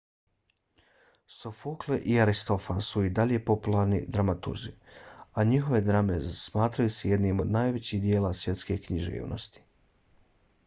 sofokle i aristofan su i dalje popularni dramaturzi a njihove drame smatraju se jednim od najvećih djela svjetske književnosti